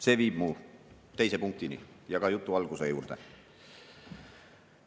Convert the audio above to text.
See viib mu teise punktini ja ka jutu alguse juurde.